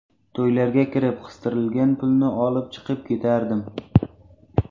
To‘ylarga kirib, qistirilgan pulni olib, chiqib ketardim.